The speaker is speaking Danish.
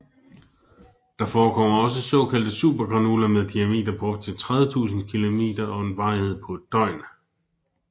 Der forekommer også såkaldte supergranuler med diameter på op til 30000 km og en varighed på et døgn